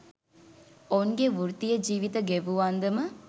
ඔවුන්ගේ වෘත්තීය ජීවිත ගෙවූ අන්දම